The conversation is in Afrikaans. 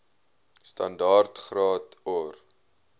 standaard graad or